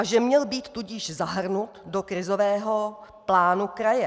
A že měl být tudíž zahrnut do krizového plánu kraje.